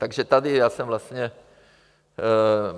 Takže tady já jsem vlastně...